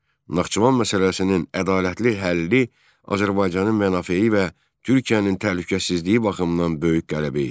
Naxçıvan məsələsinin ədalətli həlli Azərbaycanın mənafeyi və Türkiyənin təhlükəsizliyi baxımından böyük qələbə idi.